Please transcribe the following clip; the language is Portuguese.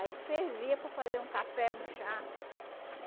Aí servia para fazer um café, um chá.